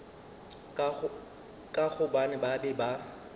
ka gobane ba be ba